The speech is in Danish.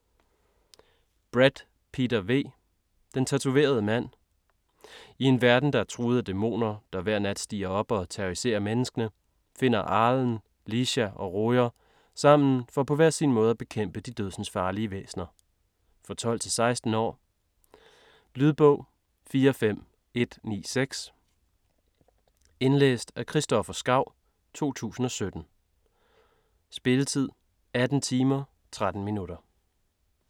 Brett, Peter V.: Den tatoverede mand I en verden, der er truet af dæmoner, der hver nat stiger op og terroriserer menneskene, finder Arlen, Leesha og Rojer sammen for på hver sin måde at bekæmpe de dødsensfarlige væsner. For 12-16 år. Lydbog 45194 Indlæst af Christoffer Skau, 2017. Spilletid: 18 timer, 13 minutter.